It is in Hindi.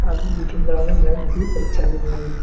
और भी पीछे ग्राउंड है बहुत अच्छा जगह है ये।